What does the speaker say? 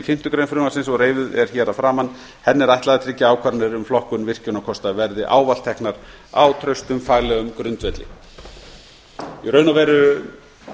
fimmtu grein frumvarpsins og reifuð er hér að framan henni er ætlað að tryggja að ákvarðanir um flokkun virkjunarkosta verði ávallt teknar á traustum faglegum grundvelli í raun og veru